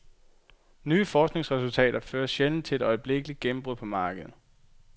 Nye forskningsresultater fører sjældent til et øjeblikkeligt gennembrud på markedet.